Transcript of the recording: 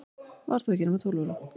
Var þó ekki nema tólf ára.